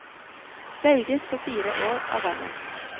Velges for fire år ad gangen.